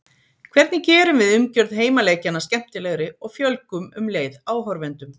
Hvernig gerum við umgjörð heimaleikjanna skemmtilegri og fjölgum um leið áhorfendum?